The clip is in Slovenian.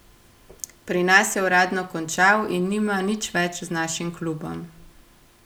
Pri nas je uradno končal in nima nič več z našim klubom.